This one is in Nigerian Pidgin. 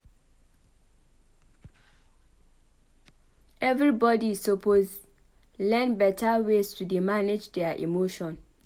Everybodi suppose learn beta ways to dey manage their emotion.